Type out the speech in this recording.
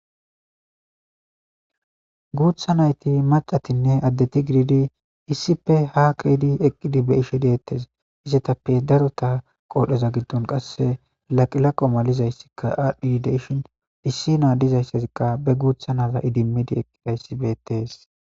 guutha nayti macatinne addeti gididi issipe haa ke'edi eqqidi be'ishe deettes izetappe darota qoodheza giddon qasse laqilaqo malizayssikka aadhi de'ishin issi adizayssazikka be guutha naza idimidi eqqidayssi beettees